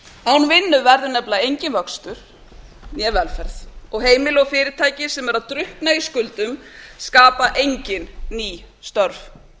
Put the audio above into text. án vinnu verður nefnilega enginn vöxtur né velferð og heimili og fyrirtæki sem eru að drukkna í skuldum skapa engin ný störf